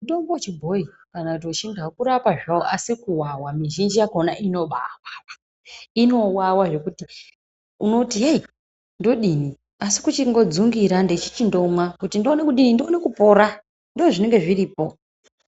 Mitombo yechibhoyi kana kuti wechindau kurapa zvao asi kuwawa mizhinji yakona inobaawawa inowawa zvekuti unoti hei ndodini asi kuchingodzingira ndichichindomwa kuti ndione kudini kuti ndione kupora ndoozvinenge zviripo.